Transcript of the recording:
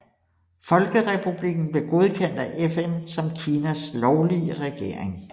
Folkerepublikken blev godkendt af FN som Kinas lovlige regering